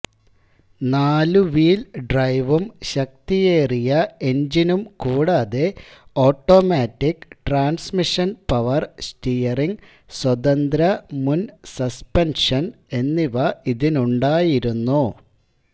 നാലുവീൽ ഡ്രൈവും ശക്തിയേറിയ എൻജിനും കൂടാതെ ഓട്ടോമാറ്റിക് ട്രാൻസ്മിഷൻ പവർ സ്റ്റീയറിങ് സ്വതന്ത്ര മുൻ സസ്പെൻഷൻ എന്നിവ ഇതുനുണ്ടായിരുന്നു